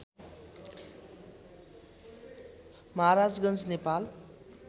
Maharajganj Nepal